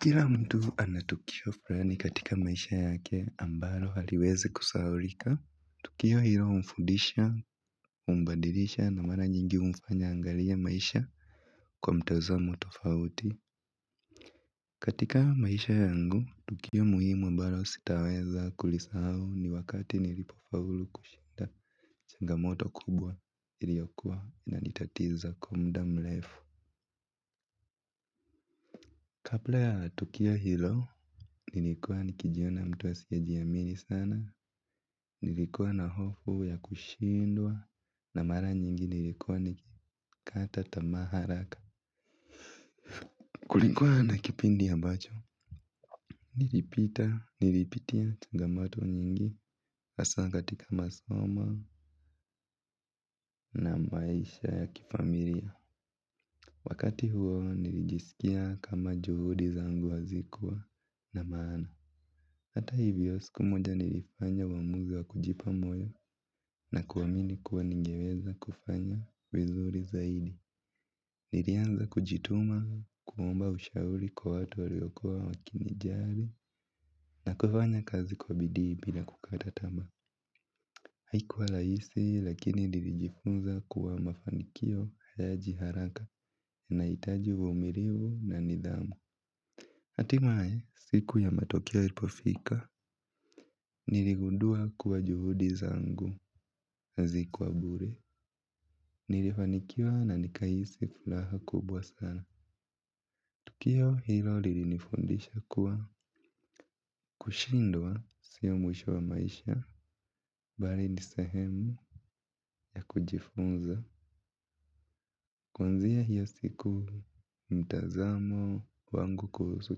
Kila mtu anatukio frani katika maisha yake ambalo haliwezi kusahaurika. Tukio hilo humfudisha, umbadilisha na mara nyingi humfanya angalie maisha kwa mtazamo tofauti. Katika maisha yangu, tukio muhimu ambalo sitaweza kulisahau ni wakati nilipofaulu kushinda changa moto kubwa iliokua ina nitatiza kwa mda mrefu. Kabla ya tukio hilo, nilikuwa nikijiona mtu asiye jiamini sana, nilikuwa na hofu ya kushindwa, na mara nyingi nilikuwa nikikata tamaa haraka. Kulikuwa na kipindi ambacho, nilipita, nilipitia changamoto nyingi, hasaa katika masomo na maisha ya kifamilia. Wakati huo nilijisikia kama juhudi zangu hazikuwa na maana. Hata hivyo siku moja nilifanya uamuzi wa kujipa moyo na kuamini kuwa ningeweza kufanya vizuri zaidi. Nilianza kujituma kumuomba ushauri kwa watu waliokuwa wakini jari na kufanya kazi kwa bidii bila kukata tamaa. Haikuwa laisi lakini nirijifunza kuwa mafanikio hayaji haraka unahitaji uvuumirivu na nidhamu. Atimae, siku ya matokeo ilipofika, niligundua kuwa juhudi zangu, hazikuwa bure, nilifanikiwa na nikahisi fulaha kubwa sana. Tukio hilo lilinifundisha kuwa kushindwa siyo mwisho wa maisha, bali nisehemu ya kujifunza. Kwanzia hiyo siku mtazamo wangu kuhusu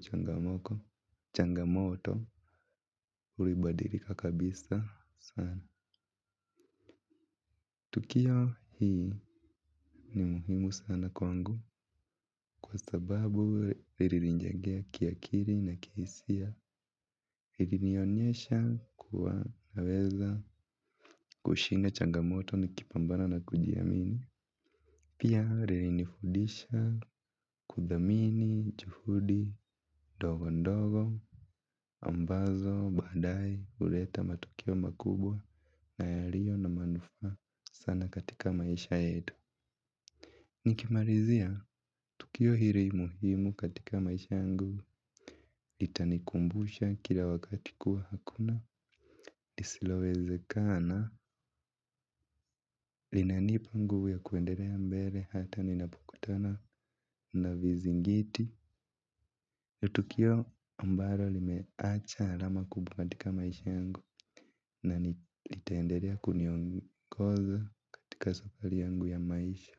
changamoko, changamoto, ulibadilika kabisa sana. Tukio hii ni muhimu sana kwangu kwa sababu rilinijengea kiakiri na kishia. Hivi nionyesha kuwa naweza kushinda changamoto nikipambana na kujiamini. Pia ririnifudisha kudhamini, juhudi, dogo ndogo, ambazo, baadae huleta matukio makubwa, naya rio na manufaa sana katika maisha yetu. Nikimarizia, tukio hiri muhimu katika maisha yangu, itanikumbusha kila wakati kuwa hakuna, lisilowezekana, linanipa nguvu ya kuenderea mbele hata ninapukutana na vizingiti nitukio ambaro limeacha alama kubwa katika maisha yangu, na nitaenderea kuniongoza katika safari yangu ya maisha.